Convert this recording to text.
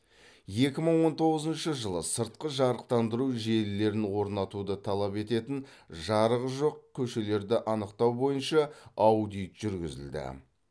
екі мың он тоғызыншы жылы сыртқы жарықтандыру желілерін орнатуды талап ететін жарығы жоқ көшелерді анықтау бойынша аудит жүргізілді